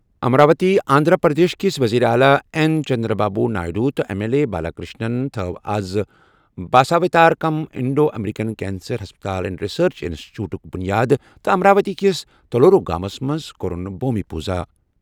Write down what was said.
امراوتی آندھرا پردیش کِس وزیر اعلیٰ این چندرا بابو نائیڈو تہٕ ایم ایل اے بالاکرشنَن تھوٚو آز باساوتارکم انڈو امریکن کینسر ہسپتال اینڈ ریسرچ انسٹی ٹیوٹُک بُنیاد تہٕ امراوتی کِس تلورو گامَس منٛز کوٚرُن بھومی پوٗزا.